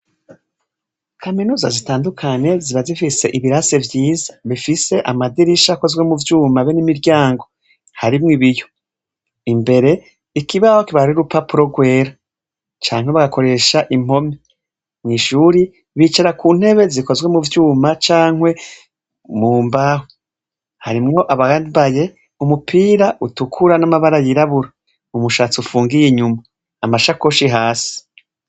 Kaminuza zitandukanye ziba zifise ibirasi vyiza bifise amadirisha akozwe mu vyuma be n'imiryango harimwo ibiyo. Imbere, ikibaho kiba ari urupapuro rwera canke bagakoresha impome. Mu ishure, bicarako ku ntebe zikozwe mu vyuma canke mu mbaho. Harimwo abambaye umupira utukura n'amabara yirabura, umushatsi ufungiye inyuma, amashakoshi hasi.